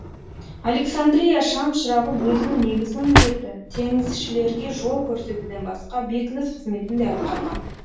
александрия шамшырағы өзінің негізгі міндеті теңізшілерге жол көрсетуден басқа бекініс қызметін де атқарған